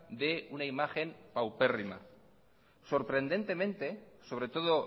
dé una imagen paupérrima sorprendentemente sobretodo